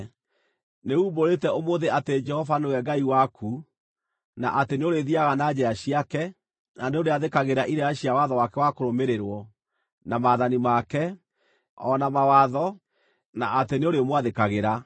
Nĩumbũrĩte ũmũthĩ atĩ Jehova nĩwe Ngai waku, na atĩ nĩũrĩthiiaga na njĩra ciake, na nĩũrĩathĩkagĩra irĩra cia watho wake wa kũrũmĩrĩrwo, na maathani make, o na mawatho, na atĩ nĩũrĩmwathĩkagĩra.